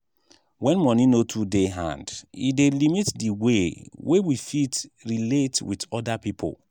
when money no too dey hand e dey limit di wey wey we fit relate with oda people